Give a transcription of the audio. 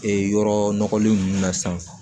Ee yɔrɔ nɔgɔlen ninnu na sisan